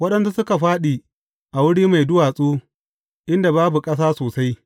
Waɗansu suka fāɗi a wuri mai duwatsu inda babu ƙasa sosai.